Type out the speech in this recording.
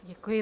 Děkuji.